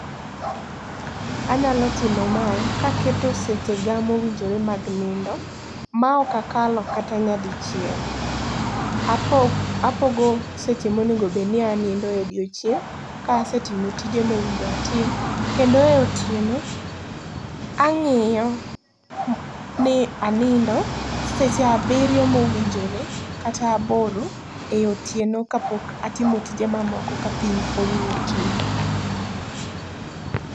Anyalo timo mae kaketo sechega mowinjore mag nindo, maok akalo kata nyadichiel. Apogo seche monego obedni anindo e odiochieng', ka asetimo tije mowinjore atim. Kendo e otieno, ang'iyo ni anindo seche abiriyo mowinjore kata aboro ei otieno kapok atimo tije moko ka piny oru e okinyi.